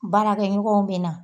Baarakɛ ɲɔgɔnw bɛna